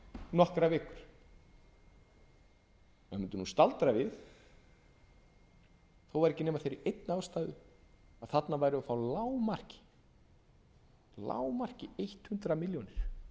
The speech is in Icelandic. nokkrar vikur maður mundi staldra við þó ekki væri nema af þeirri einni ástæðu að þarna værum við að lágmarki hundrað milljónir